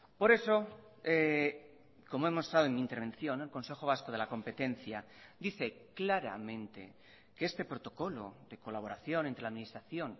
por eso como he mostrado en mi intervención el consejo vasco de la competencia dice claramente que este protocolo de colaboración entre la administración